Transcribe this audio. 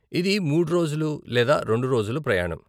ఇది మూడు రోజులు లేదా రెండు రోజులు ప్రయాణం.